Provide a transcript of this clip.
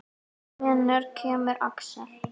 Hvenær kemur Axel?